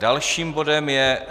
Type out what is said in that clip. Dalším bodem je